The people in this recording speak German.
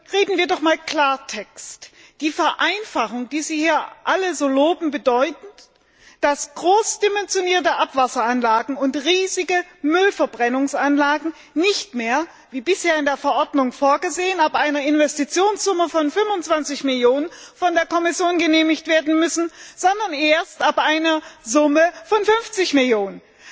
Reden wir doch mal Klartext Die Vereinfachung, die Sie hier alle so loben, bedeutet, dass groß dimensionierte Abwasseranlagen und riesige Müllverbrennungsanlagen nicht mehr, wie bisher in der Verordnung vorgesehen, ab einer Investitionssumme von 25 Millionen von der Kommission genehmigt werden müssen, sondern erst ab einer Summe von 50 Millionen.